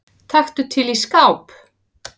Taktu til í skáp.